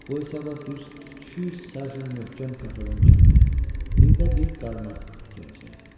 Bu hesablat düz 200 sajen möhkəm katalon kəndiri, bir də bir qarmaq itirəcəyəm.